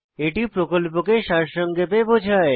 এটি প্রকল্পকে সারসংক্ষেপে বোঝায়